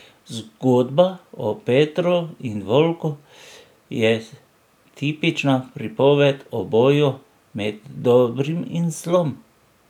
Zgodba o Petru in volku je tipična pripoved o boju med dobrim in zlom.